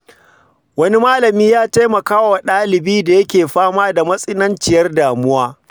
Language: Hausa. Wani malami ya taimaka wa ɗalibi da yake fama da matsananciyar damuwa.